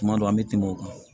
Tuma dɔw an bɛ tɛmɛ o kan